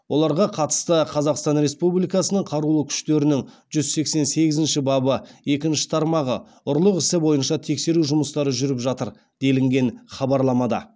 оларға қатысты қазақстан республикасының қарулы күштерінің жүз сексен сегізінші бабы екінші тармағы ұрлық ісі бойынша тексеру жұмыстары жүріп жатыр делінген хабарламада